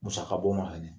Musaka bɔ ma fɛnɛ